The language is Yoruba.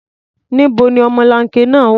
Níbo ni ọmọlanke náà wà?